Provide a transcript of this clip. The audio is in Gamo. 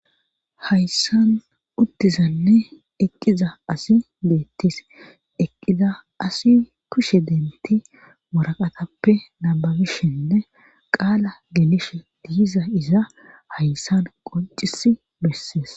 Hayssan uttizanne eqqiza asi deettis eqqiza asi kushe denti moraqatappe nababishenne qaala genishe diiza iza hayssan qoncis bessees.